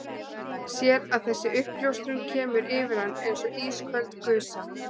Sér að þessi uppljóstrun kemur yfir hann eins og ísköld gusa.